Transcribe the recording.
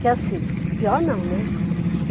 Que assim, pior não, né?